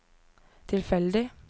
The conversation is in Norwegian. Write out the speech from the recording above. tilfeldig